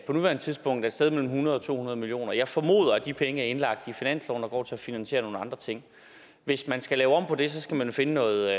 på nuværende tidspunkt et sted mellem hundrede og to hundrede million kroner jeg formoder at de penge er indlagt i finansloven og går til at finansiere nogle andre ting hvis man skal lave om på det skal man finde noget